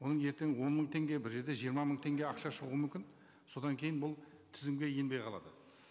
оның ертең он мың теңге бір жерде жиырма мың теңге ақша шығуы мүмкін содан кейін бұл тізімге енбей қалады